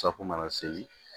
mana seri